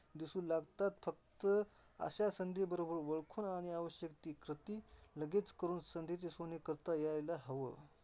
दिसू लागताच फक्त अशा संधी बरोबर ओळखून आणि आवश्यक ती कृती लगेच करून संधीचे सोने करता यायला हव.